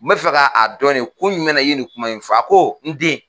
N bɛ fɛ ka a dɔn ne kun jumɛn na i ye nin kuma in fɔ a ko n den